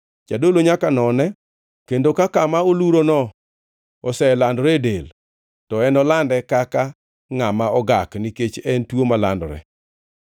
Jadolo nyaka none, kendo ka kama olurono oselandore e del, to enolande kaka ngʼama ogak; nikech en tuo malandore.